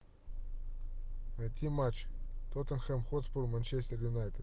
найти матч тоттенхэм хотспур манчестер юнайтед